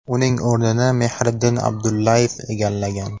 Uning o‘rnini Mehriddin Abdullayev egallagan.